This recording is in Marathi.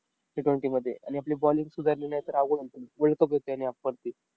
Ttwenty मध्ये. आणि आपली bowling सुधारली नाही तर अवघड world cup